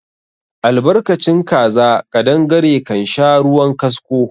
Albarkacin kaza ƙadangare kansha ruwan kasko